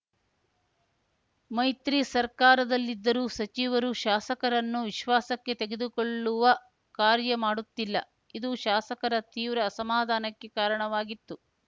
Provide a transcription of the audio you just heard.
ಮೈತ್ರಿ ಸರ್ಕಾರದಲ್ಲಿದ್ದರೂ ಸಚಿವರು ಶಾಸಕರನ್ನು ವಿಶ್ವಾಸಕ್ಕೆ ತೆಗೆದುಕೊಳ್ಳುವ ಕಾರ್ಯ ಮಾಡುತ್ತಿಲ್ಲ ಇದು ಶಾಸಕರ ತೀವ್ರ ಅಸಮಾಧಾನಕ್ಕೆ ಕಾರಣವಾಗಿತ್ತು